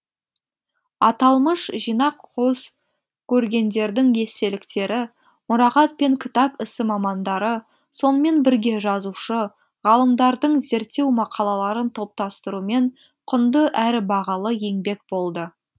аталмыш жинақ козкөргендердің естеліктері мұрағат пен кітап ісі мамандары сонымен бірге жазушы ғалымдардың зерттеу мақалаларын топтастырумен құнды әрі бағалы еңбек болды